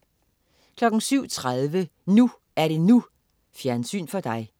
07.30 NU er det NU. Fjernsyn for dig